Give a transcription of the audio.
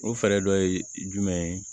O fɛɛrɛ dɔ ye jumɛn ye